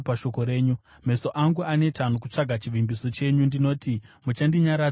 Meso angu aneta nokutsvaga chivimbiso chenyu; ndinoti, “Muchandinyaradza riniko?”